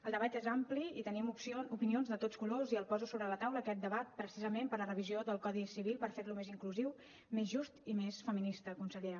el debat és ampli i tenim opinions de tots colors i el poso sobre la taula aquest debat precisament per a la revisió del codi civil per fer lo més inclusiu més just i més feminista consellera